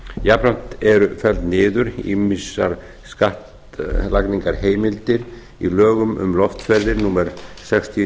jafnframt eru felldar niður ýmsar skattlagningarheimildir í lögum um loftferðir númer sextíu